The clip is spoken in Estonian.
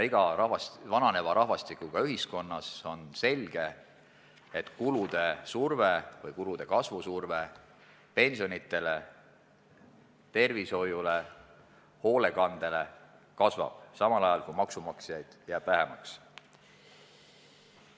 Igas vananeva rahvastikuga ühiskonnas on selge, et kulude surve või kulude kasvu surve pensionitele, tervishoiule, hoolekandele suureneb, samal ajal kui maksumaksjaid jääb vähemaks.